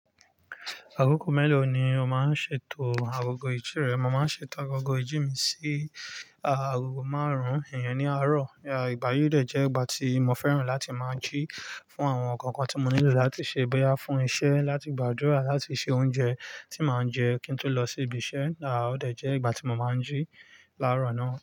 Akoko mélòó ni o máa ń ṣètò agogo ìjí rẹ? Mo máa ń ṣètò agogo ìjí mi sí agogo márùn-ún iyem ní àárọ̀. Ìgbà yí dẹ̀ jẹ́ ìgbà tí mo fẹ́ràn láti máa jí fún àwọn nkan kan tí mo nílò láti ṣe bóyá fún iṣẹ́, láti gbàdúrà, láti se oúnjẹ tí màá jẹ kí n tó lọ sí ibi iṣẹ́. A, ọ́ dẹ̀ jẹ́ ìgbà tí mo máa ń jí láàárọ̀ náà.